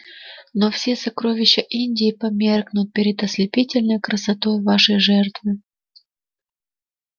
но все сокровища индии померкнут перед ослепительной красотой вашей жертвы